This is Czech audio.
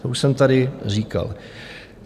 To už jsem tady říkal.